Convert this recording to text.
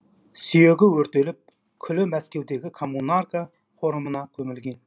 сүйегі өртеліп күлі мәскеудегі коммунарка қорымына көмілген